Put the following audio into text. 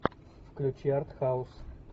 включи арт хаус